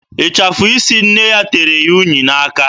Ịchafụ isi nne ya tere unyi n'aka ya.